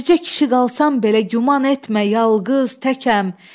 Bircə kişi qalsam belə güman etmə yalqız təkəm.